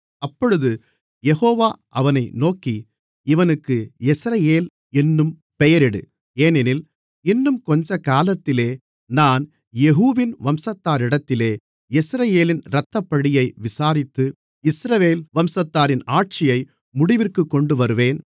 அப்பொழுது யெகோவா அவனை நோக்கி இவனுக்கு யெஸ்ரயேல் என்னும் பெயரிடு ஏனெனில் இன்னும் கொஞ்சகாலத்திலே நான் யெகூவின் வம்சத்தாரிடத்திலே யெஸ்ரயேலின் இரத்தப்பழியை விசாரித்து இஸ்ரவேல் வம்சத்தாரின் ஆட்சியை முடிவிற்குக் கொண்டுவருவேன்